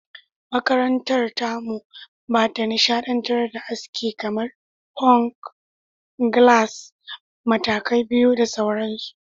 Makarantarmu ba ta nishadantar da aski kamar; Punk, Gallas, Matakai Biyu da sauransu.